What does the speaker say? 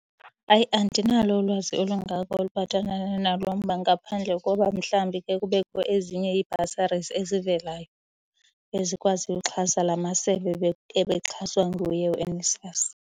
Hayi, andinalo ulwazi olungako oluphathelana nalo mba ngaphandle koba mhlawumbi ke kubekho ezinye ii-bursaries ezivelayo ezikwaziyo ukuxhasa la masebe ebexhaswa nguye uNSFAS.